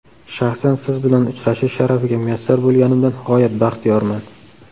Shaxsan Siz bilan uchrashish sharafiga muyassar bo‘lganimdan g‘oyat baxtiyorman.